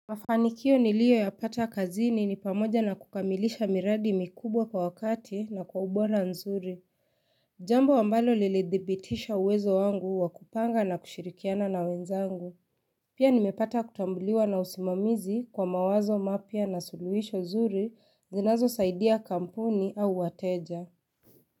Mafanikio nilio ya pata kazini ni pamoja na kukamilisha miradi mikubwa kwa wakati na kwa ubola nzuri Jambo ambalo liledhibitisha uwezo wangu wakupanga na kushirikiana na wenzangu Pia nimepata kutambuliwa na usimamizi kwa mawazo mapia na suluhisho nzuri zinazo saidia kamponi au wateja.